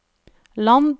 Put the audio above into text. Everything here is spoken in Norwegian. land